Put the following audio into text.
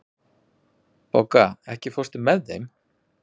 Bogga, ekki fórstu með þeim?